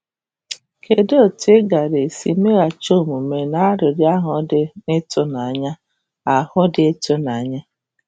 Kedụ etu ị gaara esi meghachi omume n’arịrịọ ahụ dị ịtụnanya? ahụ dị ịtụnanya?